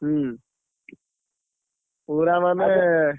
ହୁଁ, ପୁରା ମାନେ।